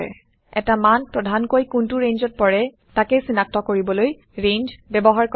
এটা মান প্ৰধানকৈ কোন্তো ৰেঞ্জত পৰে তাকেই চিনাক্ত কৰিবলৈ ৰেঞ্জ ব্যৱহাৰ কৰা হয়